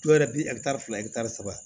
Dɔw yɛrɛ bi fila saba